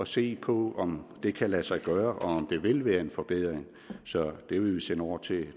se på om det kan lade sig gøre og det vil være en forbedring så det vil vi sende over til